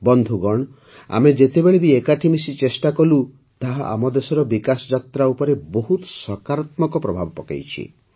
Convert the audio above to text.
ବନ୍ଧୁଗଣ ଆମେ ଯେତେବେଳେ ବି ଏକାଠି ମିଶି ଚେଷ୍ଟା କଲୁ ତାହା ଆମ ଦେଶର ବିକାଶ ଯାତ୍ରା ଉପରେ ବହୁତ ସକାରାତ୍ମକ ପ୍ରଭାବ ପକାଇଛି